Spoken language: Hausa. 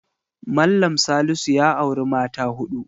Mallam Salisu ya auri mata huɗu.